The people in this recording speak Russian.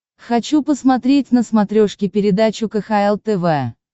хочу посмотреть на смотрешке передачу кхл тв